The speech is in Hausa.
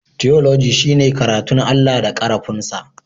Tiyoloji shine karatun Allah da karafun sa.